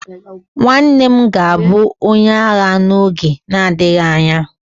nwanne m ga-abu onye agha n'oge na-adịghị anya